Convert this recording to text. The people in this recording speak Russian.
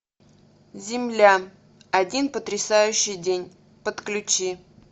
земля один потрясающий день подключи